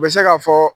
U bɛ se ka fɔ